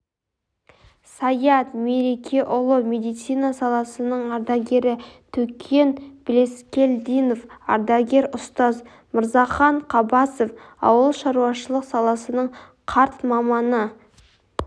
саят мерекеұлы медицина саласының ардагері төкен блескелдинов ардагер ұстаз мырзахан қабасов ауылшаруашылық саласының қарт маманы